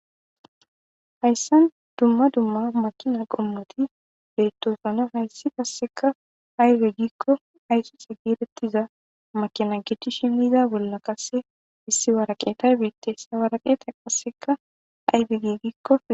hayssan dumma dumma makina qommoti beettosona hayssi qasseka ayde giikko ayxixi giirettiza makina gettishi miza bolla qasse issi waraqetaybeettesa waraqeeta qasseka aybe gi gikko